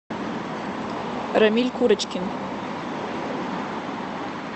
рамиль курочкин